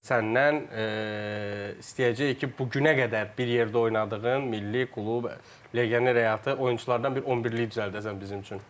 Səndən istəyəcəyik ki, bu günə qədər bir yerdə oynadığın milli klub legioner həyatı, oyunçulardan bir 11-lik düzəldəsən bizim üçün.